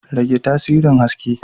Rage tasirin haske.